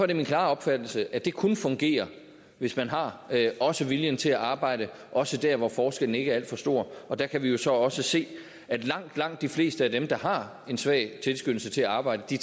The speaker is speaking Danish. det min klare opfattelse at det kun fungerer hvis man har også viljen til at arbejde også dér hvor forskellen ikke er alt for stor der kan vi jo så også se at langt langt de fleste af dem der har en svag tilskyndelse til at arbejde de